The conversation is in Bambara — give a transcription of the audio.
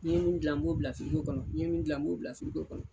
N'i ye min gilan n b'o bila b'o kɔn firigo kɔnɔ n'i ye min gilan n b'o bila firigo kɔnɔ